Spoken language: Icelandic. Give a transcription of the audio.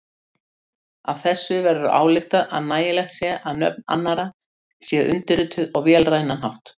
Af þessu verður ályktað að nægjanlegt sé að nöfn annarra séu undirrituð á vélrænan hátt.